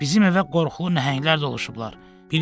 Bizim evə qorxulu nəhənglər doluşublar.